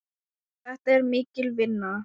Þetta var mikil vinna.